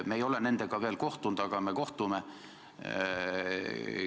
Me ei ole ise nendega veel kohtunud, aga me kohtume.